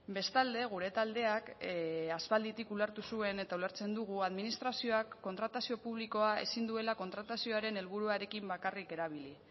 bestalde gure taldeak aspalditik ulertu zuen eta ulertzen dugu administrazioak kontratazio publikoa ezin duela kontratazioaren helburuarekin bakarrik erabili